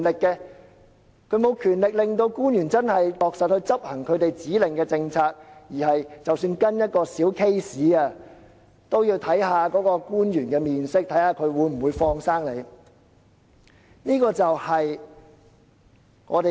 區議員沒有權力令官員落實執行他們指令的政策，即使只是跟進一宗小個案，他們也要看官員的臉色，看看官員會否"放生"你。